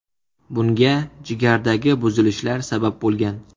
Bunga jigardagi buzilishlar sabab bo‘lgan.